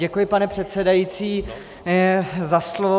Děkuji, pane předsedající, za slovo.